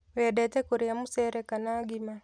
Wendete kũrĩa mucere kana ngima